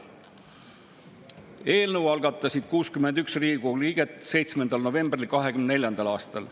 Eelnõu algatasid 61 Riigikogu liiget 7. novembril 2024. aastal.